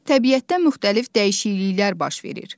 Təbiətdə müxtəlif dəyişikliklər baş verir.